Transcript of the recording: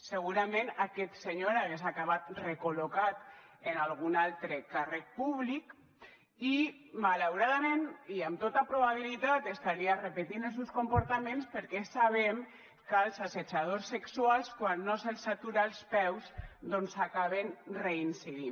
segurament aquest senyor hagués acabat recol·locat en algun altre càrrec públic i malauradament i amb tota probabilitat estaria repetint els seus comportaments perquè sabem que els assetjadors sexuals quan no se’ls atura els peus doncs acaben reincidir